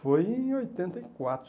Foi em oitenta e quatro